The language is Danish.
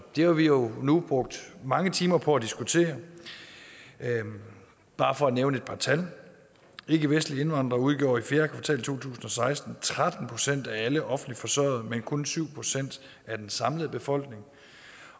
det har vi jo nu brugt mange timer på at diskutere bare for at nævne et par tal ikkevestlige indvandrere udgjorde i fjerde kvartal to tusind og seksten tretten procent af alle offentligt forsørgede men kun syv procent af den samlede befolkning